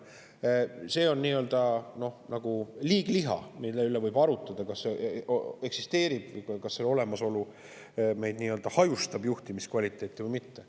See on nagu liigliha, mille üle võib arutleda, kas selle olemasolu nii-öelda hajustab juhtimiskvaliteeti või mitte.